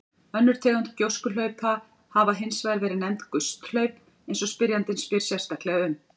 Önnur tegund gjóskuhlaupa hafa hins vegar verið nefnd gusthlaup eins og spyrjandi spyr sérstaklega um.